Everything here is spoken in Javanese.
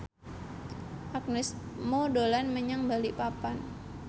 Agnes Mo dolan menyang Balikpapan